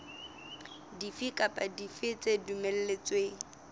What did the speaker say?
dife kapa dife tse dumelletsweng